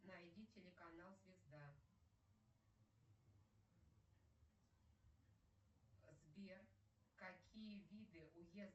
найди телеканал звезда сбер какие виды